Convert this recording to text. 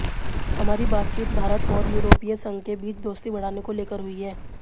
हमारी बातचीत भारत और यूरोपीय संघ के बीच दोस्ती बढ़ाने को लेकर हुई है